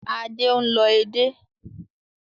Adé ń lọ edé